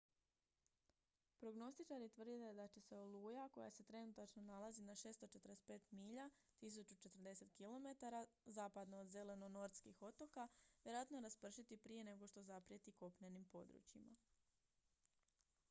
prognostičari tvrde da će se oluja koja se trenutačno nalazi na 645 milja 1040 km zapadno od zelenortskih otoka vjerojatno raspršiti prije nego što zaprijeti kopnenim područjima